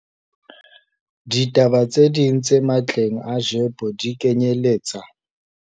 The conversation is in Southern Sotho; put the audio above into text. Ditaba tse ding tse matleng a GEPO di kenyeletsa.